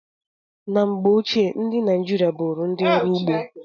Na mgbe ochie, ndị Naịjirịa bụụrụ ndị ọrụ ugbo.